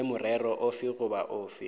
le morero ofe goba ofe